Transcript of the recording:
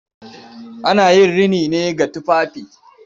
Ana yin rini ne ga tufafi.